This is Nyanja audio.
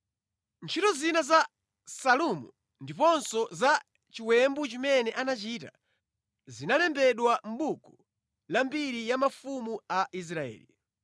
Ntchito zina za Salumu ndiponso za chiwembu chimene anachita, zinalembedwa mʼbuku la mbiri ya mafumu a Israeli.